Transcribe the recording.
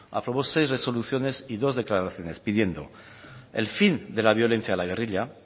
aprobó seis resoluciones y dos declaraciones pidiendo el fin de la violencia de la guerrilla